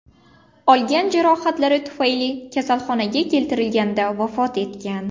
olgan jarohatlari tufayli kasalxonaga keltirilganida vafot etgan.